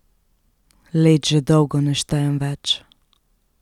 Let že dolgo ne štejem več.